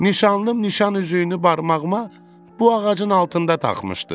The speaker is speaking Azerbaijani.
Nişanlım nişan üzüyünü barmağıma bu ağacın altında taxmışdı.